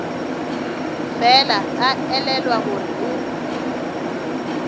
fela a elelwa gore o